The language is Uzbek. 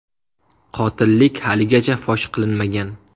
Qotillik haligacha fosh qilinmagan.